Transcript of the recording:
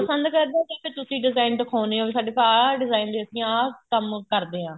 ਪਸੰਦ ਕਰਦਾ ਕੇ ਤੁਸੀਂ design ਦਿਖਾਉਣੇ ਹੋ ਵੀ ਸਾਡੇ ਪਾ ਆ design ਨੇ ਅਸੀਂ ਆਹ ਕੰਮ ਕਰਦੇ ਆ